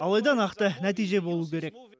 алайда нақты нәтиже болу керек